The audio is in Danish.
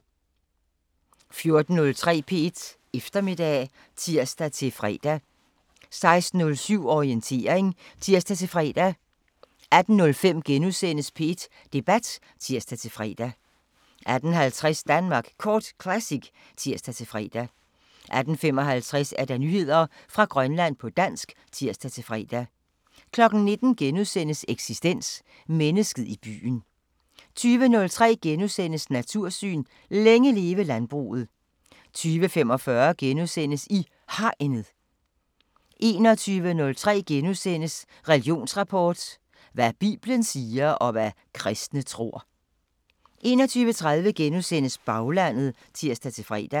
14:03: P1 Eftermiddag (tir-fre) 16:07: Orientering (tir-fre) 18:05: P1 Debat *(tir-fre) 18:50: Danmark Kort Classic (tir-fre) 18:55: Nyheder fra Grønland på dansk (tir-fre) 19:00: Eksistens: Mennesket i byen * 20:03: Natursyn: Længe leve landbruget * 20:45: I Hegnet * 21:03: Religionsrapport: Hvad bibelen siger, og hvad kristne tror... * 21:30: Baglandet *(tir-fre)